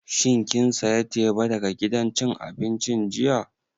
Shin kin saya teba daga gidan cin abincin jiya?